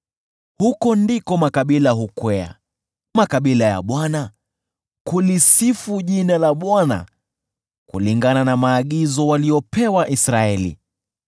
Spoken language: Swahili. Huko ndiko makabila hukwea, makabila ya Bwana , kulisifu jina la Bwana kulingana na maagizo waliopewa Israeli.